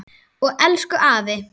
Og elsku afi.